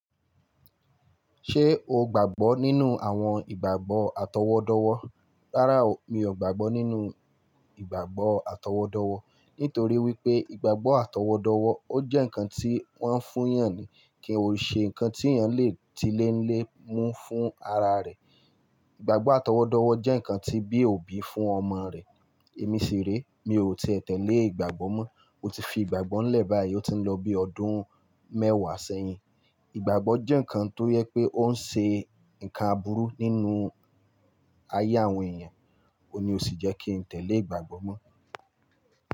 Ṣé o gbàgbọ́ nínú àwọn ìgbàgbọ́ àtọwọ́dọ́wọ́? Rárá o, mi ò gbàgbọ́ nínú ìgbàgbọ́ àtọwọ́dọ́wọ́. Nítorí wípé ìgbàgbọ́ àtọwọ́dọ́wọ́ ó jẹ́ ǹkan tí wọ́n ń fún èèyàn ni. Ki ò ṣe ǹkan tí èèyàn le ti léńlé mú fún ara rẹ̀. Ìgbàgbọ́ àtọwọ́dọ́wọ́ jẹ́ ǹkan tí bí òbí fún ọmọ rẹ̀. Èmi ṣiré, mi ò tíì tẹ̀lé ìgbàgbọ́ mọ́. Mo ti fi ìgbàgbọ́ ńlẹ̀ báyìí, ó ti ń lọ bí ọdún mẹ́wàá sẹ́yìn. Ìgbàgbọ́ jẹ́ ǹkan tó yẹ pé ó ń ṣe ǹkan àbúrú nínú ayé àwọn èèyàn. Óun ni ó sì jẹ́ kí n tẹ̀lé ìgbàgbọ́ mọ́.